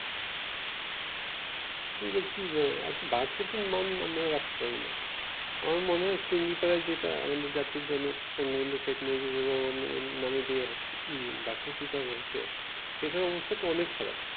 একটা ভার্সিটির মান আমরা রাখতে পারি না আমার মনে হয় টুঙ্গি পাড়ায় যেইটা আমাদের জাতির জনক বঙ্গবন্ধু শেখ মুজিবুর রহমান এর নামে যে ই ভর্সিটিটা হইসে সেইটার অবস্থাতো অনেক খারাপ